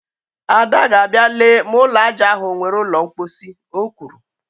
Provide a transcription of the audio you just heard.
Ada ga-abịa lee ma ụlọ aja ahụ o nwere ụlọ mkposhi, o kwuru